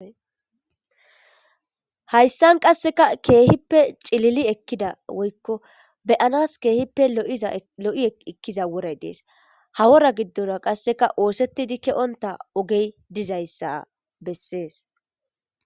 Hayssan qasseka keehippe cilili ekkida woykko beyanas keehippe lo7i ekkiza woray dees hawora giddona qasseka oosettidi ke7onta ogey dizayssa bessees.